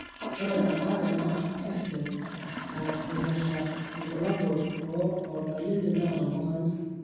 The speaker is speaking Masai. ore embaare naa keisidai o eipirta irbulabol o dalili naaataa oltung'ani.